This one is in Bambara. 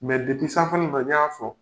Mɛ sanfɛla ninnu na n y'a fɔ.